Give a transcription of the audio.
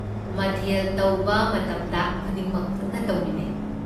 ꯃꯊꯦꯜ ꯇꯧꯕ ꯃꯇꯝꯗ ꯈꯨꯗꯤꯡꯃꯛ ꯄꯨꯟꯅ ꯇꯧꯃꯤꯟꯅꯩ꯫